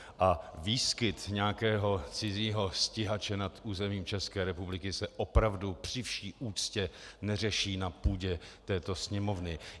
A výskyt nějakého cizího stíhače nad územím České republiky se opravdu při vší úctě neřeší na půdě této Sněmovny.